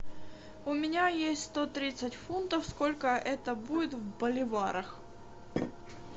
у меня есть сто тридцать фунтов сколько это будет в боливарах